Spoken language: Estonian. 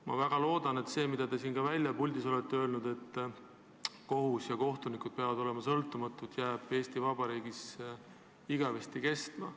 Ma väga loodan, et see, mida teie siin puldis olete öelnud, et kohus ja kohtunikud peavad olema sõltumatud, jääb Eesti Vabariigis igavesti kestma.